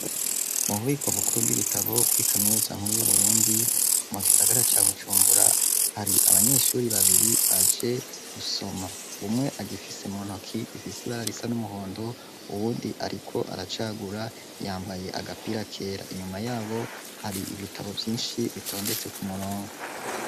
Mu bubiko bukuru bw'ibitabo kuri kaminutsa nkuru yu Burundi mu gisagara ca Bujumbura hari abanyeshuri babiri baje gusoma umwe agifise mu ntoki gifise ibara risa n'umuhondo uwundi ariko aracagura yambaye agapira kera inyuma yabo hari ibitabo vyinshi bitondetse ku murongo.